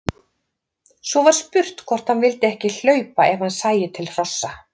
Svo var spurt hvort hann vildi ekki hlaupa ef hann sæi til hrossa.